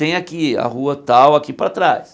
Tem aqui, a rua tal aqui para trás.